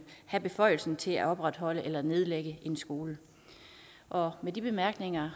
have beføjelsen til at opretholde eller nedlægge en skole og med de bemærkninger